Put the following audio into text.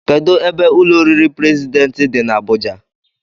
Kedụ ebe ụlọ oriri prezidentị dị n'Abuja?